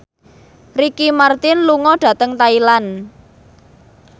Ricky Martin lunga dhateng Thailand